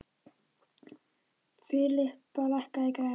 Filippa, lækkaðu í græjunum.